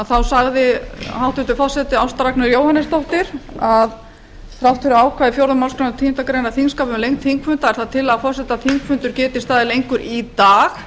þá sagði hæstvirtur forseti ásta ragnheiður jóhannesdóttir að þrátt fyrir ákvæði fjórðu málsgreinar tíundu greinar þingskapa um lengd þingfunda er það tillaga forseta að þingfundur geti staðið lengur í dag